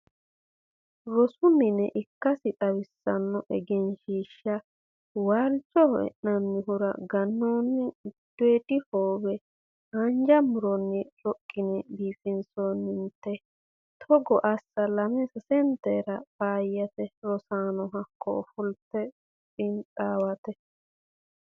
Rosu mine ikkasi xawisano egenshiishsha waalcho e'nannihuro ganonni giddoodi hoowe haanja muronni roqine biifinsonnite togo assa lame sasetera faayyate, rosanono hakko ofolte xiinxawate.